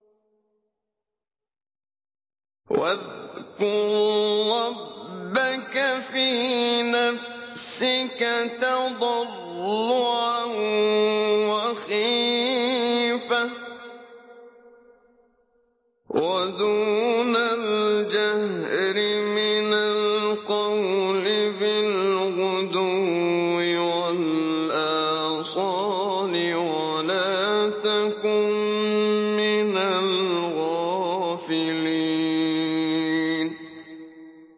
وَاذْكُر رَّبَّكَ فِي نَفْسِكَ تَضَرُّعًا وَخِيفَةً وَدُونَ الْجَهْرِ مِنَ الْقَوْلِ بِالْغُدُوِّ وَالْآصَالِ وَلَا تَكُن مِّنَ الْغَافِلِينَ